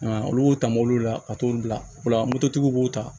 olu b'o ta mobiliw la ka t'olu bila o la moto tigiw b'o ta